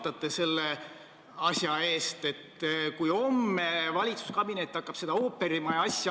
Teie rõhutasite meile esmaspäeval sotsiaalkomisjonis oma kaasvastutaja rolli erinevates valdkondades ja nende alla käib ka alushariduse riikliku õppekava loomine.